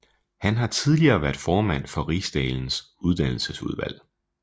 Han har tidligere været formand for Riksdagens uddannelsesudvalg